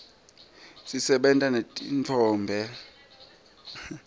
sibata netitfombe